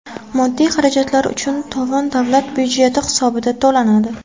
Moddiy xarajatlar uchun tovon davlat byudjeti hisobidan to‘lanadi.